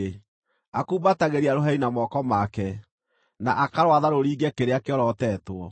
Akumbatagĩria rũheni na moko make, na akarwatha rũringe kĩrĩa kĩorotetwo.